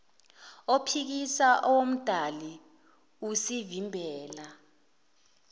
ophikisa owomdali usivimbela